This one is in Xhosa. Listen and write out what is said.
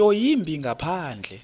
nto yimbi ngaphandle